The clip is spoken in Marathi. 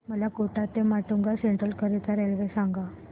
मला कोटा ते माटुंगा सेंट्रल करीता रेल्वे सांगा